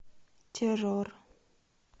террор